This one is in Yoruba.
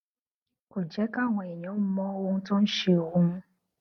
kò jé káwọn èèyàn mọ ohun tó ń ṣe òun